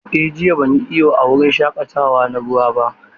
A'a, jiya ban yi iyo a wurin shaƙatawa na ruwa ba.